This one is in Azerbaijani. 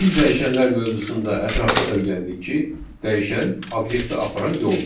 Biz dəyişənlər mövzusunda ətraflı öyrəndik ki, dəyişən obyekti aparan yoldur.